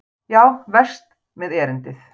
Já, verst með erindið.